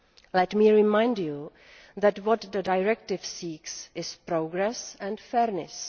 Let me remind you that what the directive seeks is progress and fairness.